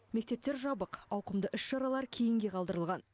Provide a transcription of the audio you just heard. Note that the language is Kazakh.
мектептер жабық ауқымды іс шаралар кейінге қалдырылған